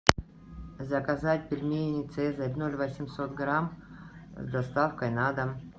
заказать пельмени цезарь ноль восемьсот грамм с доставкой на дом